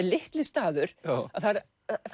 litli staður að það er